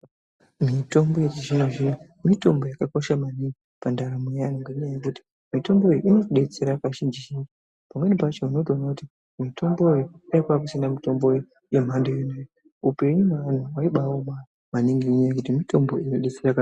Mitombo yechizvino zvino mitombo yakakosha maningi pandaramo. Ngenyaya yekuti mitombo iyi inodetsera kazhinji zhinji. Pamweni pacho unotoona kuti mutombo uyu, kudai kwakusina mutombo yemhando iyi upenyu hwemuntu hwaimbaoma maningi ngekuti mitombo inobatsira.